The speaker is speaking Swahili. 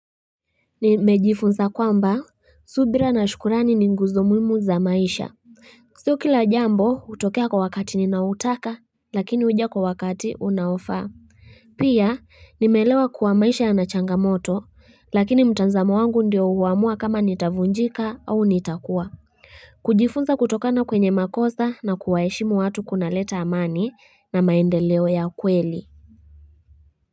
Nimejifunza kwamba, subira na shukrani ni nguzo muhimu za maisha. Sio kila jambo hutokea kwa wakati ninautaka, lakini huja kwa wakati unaofaa. Pia, nimeelewa kuwa maisha yana changamoto, lakini mtazamo wangu ndio huamua kama nitavunjika au nitakuwa. Kujifunza kutokana kwenye makosa na kuwaheshimu watu kunaleta amani na maendeleo ya kweli.